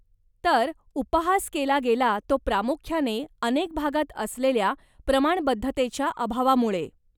तर, उपहास केला गेला तो प्रामुख्याने अनेक भागात असलेल्या प्रमाणबद्धतेच्या अभावामुळे.